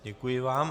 Děkuji vám.